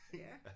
Ja